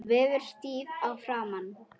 Hún verður stíf í framan.